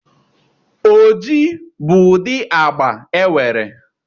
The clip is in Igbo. Oji bụ ụdị agba e nwere.